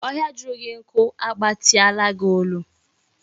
Ohia juru gi nku a gbatiala gi olu